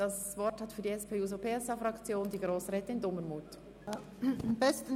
Das Wort hat für die SP-JUSO-PSA-Fraktion Grossrätin Dumermuth.